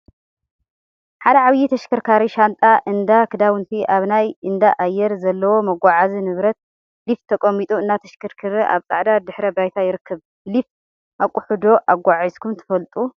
ሓደ ዓብይ ተሽከርካሪ ሻንጣ እንዳ ክዳውንቲ አብ ናይ እንዳ አየር ዘለዎ መጎዓዓዚ ንብረት/ሊፍት/ ተቀሚጡ እናተሽከርከረ አብ ፃዕዳ ድሕረ ባይታ ይርከብ፡፡ ብሊፍት አቁሑ ዶ አጓዓዒዝኩም ትፈልጡ?